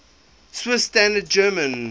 swiss standard german